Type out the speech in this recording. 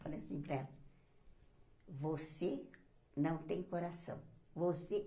Falei assim para ela, você não tem coração.